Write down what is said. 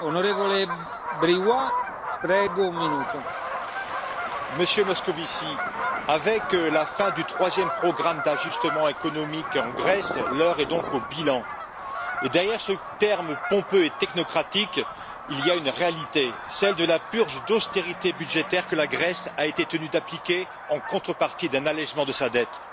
Monsieur le Président, Monsieur Moscovici, avec la fin du troisième programme d'ajustement économique en Grèce, l'heure est donc au bilan. Et derrière ce terme pompeux et technocratique, il y a une réalité, celle de la purge d'austérité budgétaire que la Grèce a été tenue d'appliquer en contrepartie d'un allégement de sa dette.